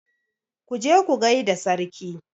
Ku je ku gai da sarki!